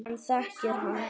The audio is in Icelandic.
Hann þekkir hann.